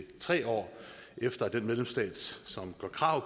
tre år efter at den medlemsstat som gør krav